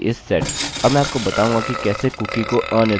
अब मैं आपको बताऊँगा कि कैसे कुकीcookie को अनिर्धारित करें